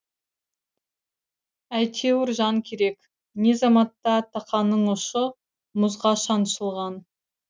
әйтеуір жан керек не заматта тақаның ұшы мұзға шаншылған